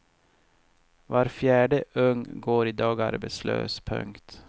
Var fjärde ung går i dag arbetslös. punkt